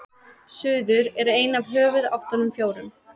suður er ein af höfuðáttunum fjórum